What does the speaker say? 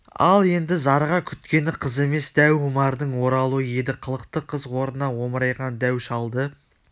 ал енді зарыға күткені қыз емес дәу омардың оралуы еді қылықты қыз орнына омырайған дәу шалды